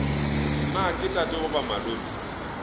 na ke tate goba malome